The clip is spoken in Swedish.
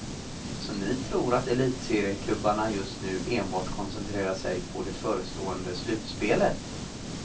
Så ni tror att elitserieklubbarna just nu enbart koncentrerar sig på det förestående slutspelet.